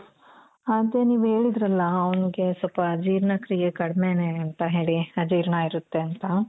ಅದೇ ನೀವ್ ಹೇಳಿದ್ರಲ ಅವ್ಙ್ಗೆ ಸ್ವಲ್ಪ ಜೀರ್ಣಕ್ರೀಯೇ ಕಡ್ಮೇನೆ ಅಂತ ಹೇಳಿ ಅಜೀರ್ಣ ಇರುತ್ತೆ ಅಂತ.